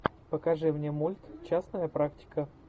покажи мне мульт частная практика